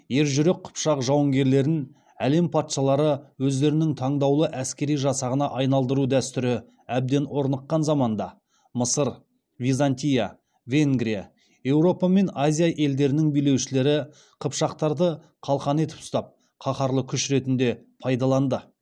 ержүрек қыпшақ жауынгерлерін әлем патшалары өздерінің таңдаулы әскери жасағына айналдыру дәстүрі әбден орныққан заманда мысыр византия венгрия еуропа мен азия елдерінің билеушілері қыпшақтарды қалқан етіп ұстап қаһарлы күш ретінде пайдаланды